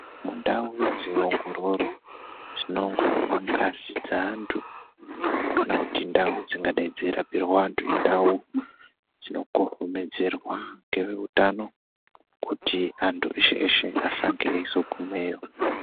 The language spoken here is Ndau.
Mundau dzeongororo dzinoongororwa ngazi dzeantu. Kana kuti ndau dzingadai dzeirapirwa antu indau dzinokohomedzerwa ngeveutano kuti antu eshe-eshe, asange eizogumeyo.